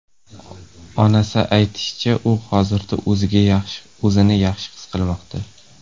Onasi aytishicha, u hozirda o‘zini yaxshi his qilmoqda.